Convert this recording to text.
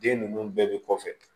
Den ninnu bɛɛ bɛ kɔfɛ